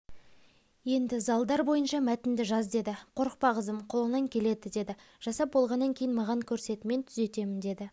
-енді залдар бойынша мәтінді жаз деді қорықпа қызым қолыңнан келеді деді жасап болғаннан кейін маған көрсет мен түзетемін деді